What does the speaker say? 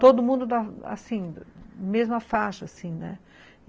Todo mundo da mesma faixa.